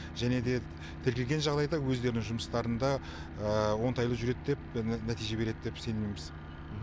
және де тіркелген жағдайда өздерінің жұмыстарында оңтайлы жүреді деп нәтиже береді деп сенеміз